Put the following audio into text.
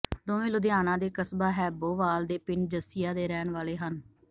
ਦੋਵੇਂ ਲੁਧਿਆਣਾ ਦੇ ਕਸਬਾ ਹੈਬੋਵਾਲ ਦੇ ਪਿੰਡ ਜੱਸੀਆਂ ਦੇ ਰਹਿਣ ਵਾਲੇ ਹਨ